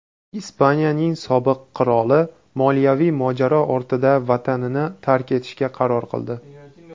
Ispaniyaning sobiq qiroli moliyaviy mojaro ortida vatanini tark etishga qaror qildi.